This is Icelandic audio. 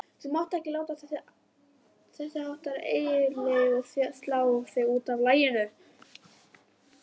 Þú mátt ekki láta þessháttar hégiljur slá þig útaf laginu.